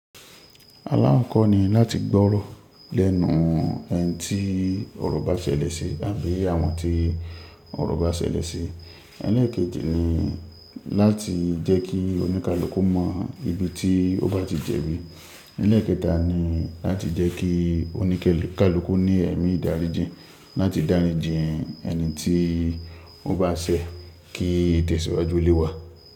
Alá kọ́ kọ́ ni láti gbọ́rọ̀ lẹ́nu ẹni tí ọ̀rọ̀ bá ṣẹlẹ̀ sí àbí àwọn tí ọ̀rọ̀ bá ṣẹlẹ̀ sí. Ẹlẹ́ẹ̀kejì ni láti jẹ́ kí oníkálùkù mọ ibi tí ó bá ti jẹ̀bi Ẹ̀lẹkẹta ni láti jẹ́ kí oníkálùkù ní ẹ̀mí ìdáríjì láti dáríjì ẹni tí ó bá ṣẹ̀ kí itẹ̀síwájú lé wa.